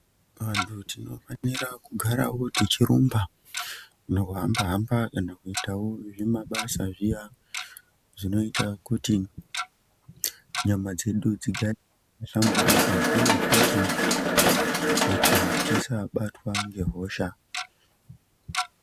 Antu tinofanira kugara wo tichi rumba nekuhamba hamba kana kuitawo zvimabasa wo zviya zvinoita kuti nyama dzedu dzigare dzakahlamburuka uye futi kuti tisabatwa ngehosha.